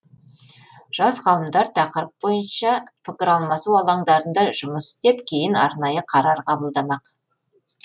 жас ғалымдар тақырып бойынша пікір алмасу алаңдарында жұмыс істеп кейін арнайы қарар қабылдамақ